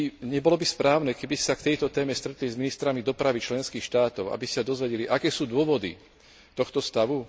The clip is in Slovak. Nebolo by správne, keby ste sa na túto tému stretli s ministrami dopravy členských štátov, aby ste sa dozvedeli, aké sú dôvody tohto stavu?